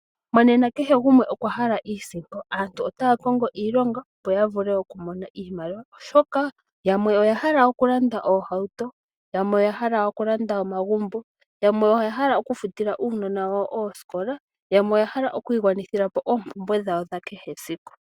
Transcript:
Monena kehe gumwe okwa hala iisimpo. Aantu otaya kongo iilonga opo ya vule oku mona iimaliwa, oshoka yamwe oya hala okulanda oohauto , yamwe oya hala okulanda omagumbo, yamwe oya hala oku futila uunona wawo ooskola yo yamwe oya hala okwiigwanithila po oompumbwe dhawo dha kehe esiku.